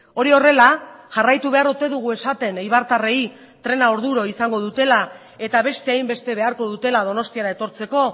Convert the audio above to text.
hori horrela jarraitu behar ote dugu esaten eibartarrei trena orduro izango dutela eta beste hainbeste beharko dutela donostiara etortzeko